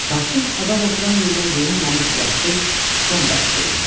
Taxtın adam oturan yerinə yonulmamış yastı Scon daşı qoyulmuşdu.